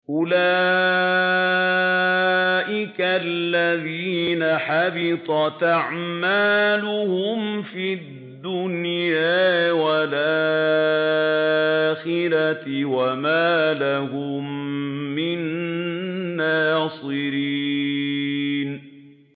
أُولَٰئِكَ الَّذِينَ حَبِطَتْ أَعْمَالُهُمْ فِي الدُّنْيَا وَالْآخِرَةِ وَمَا لَهُم مِّن نَّاصِرِينَ